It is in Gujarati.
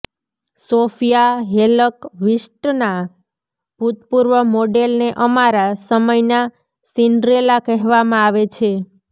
સોફિયા હેલકવિસ્ટના ભૂતપૂર્વ મોડેલને અમારા સમયના સિન્ડ્રેલા કહેવામાં આવે છે